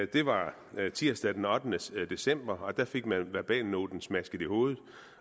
det var tirsdag den ottende december og der fik man verbalnoten smasket i hovedet